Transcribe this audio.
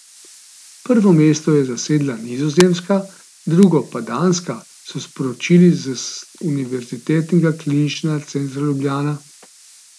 Prvo mesto je zasedla Nizozemska, drugo pa Danska, so sporočili z Univerzitetnega kliničnega centra Ljubljana.